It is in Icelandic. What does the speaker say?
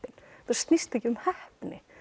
snýst ekki um heppni